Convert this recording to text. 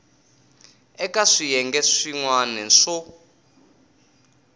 eka swiyenge swin wana swo